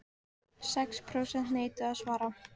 Sex prósent neituðu að svara